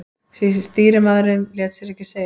Stýrimaðurinn lét sér ekki segjast.